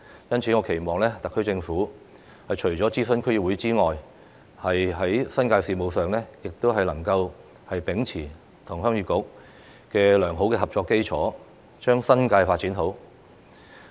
因此，我期望特區政府除了諮詢區議會之外，在新界事務上亦能夠秉持與鄉議局的良好合作基礎，將新界發展好。